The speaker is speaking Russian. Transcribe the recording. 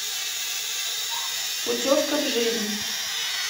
путевка в жизнь